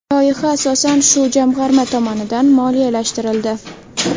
Loyiha asosan shu jamg‘arma tomonidan moliyalashtirildi”.